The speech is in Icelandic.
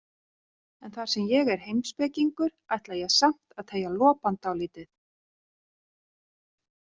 En þar sem ég er heimspekingur ætla ég samt að teygja lopann dálítið.